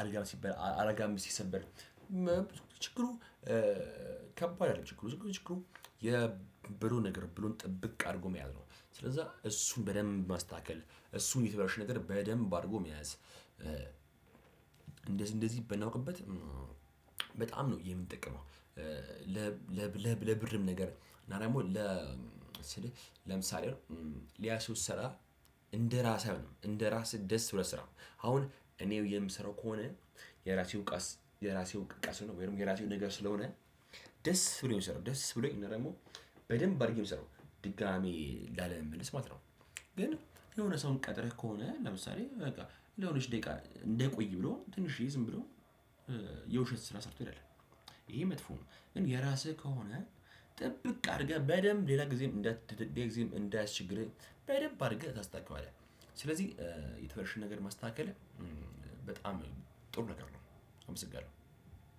አልጋም ሲበል አልጋም ሲሰበር። ብዙ ጊዜ ችግሩ ከባድ አይደለም ችግሩ ችግሩ የብሎን ነገር ብሎን ጥብቅ አድርጎ መያዝ ነው። ስለዛ እሱን በደንብ ማስተካከል እሱን የተበላሸውን ነገር በደንብ አድርጎ መያዝ። እንደዚህ እንደዚህ ብናውቅበት በጣም ነው የምንጠቀመው። ለብርም ነገር እና ደግሞ ለ ለምሳሌ አሁን ሌላ ሰው ሲሰራ እንደራስ አይሆንም እንደ ራስህ ደስ ብሎህ አትሰራም አሁን እኔው የምሰራው ከሆነ። የራሴው ቀስ የራሴው እቃ ስለሆነ ወይም የራሴው ነገር ስለሆነ ደስ ብሎኝ ነው ምሰራው ደስ ብሎኝ እና ደግሞ በደንብ አድርጌም ነው ምሰራው ድጋሚ ላለመመለስ ማለት ነው። ግን የሆነ ሰውን ቀጥረህ ከሆነ ለምሳሌ በቃ ለሆነች ደቂቃ እንዳይቆይ ብሎ ትንሽዬ ዝም ብሎ የውሸት ስራ ሰርቶ ይሄዳል። ይሄ መጥፎ ነው። ግን የራስህ ከሆነ ጥብቅ አድርገህ በደንብ ሌላ ጊዜም እንዳትደድድይ ጊዜም እንዳያስቸግርህ በደንብ አድርገህ ታስተካክለዋለህ። ስለዚህ የተበላሸ ነገር ማስተካከል በጣም ጥሩ ነገር ነው። አመሰግናለሁ።